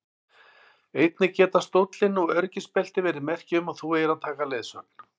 Einnig geta stóllinn og öryggisbeltin verið merki um að þú eigir að taka leiðsögn.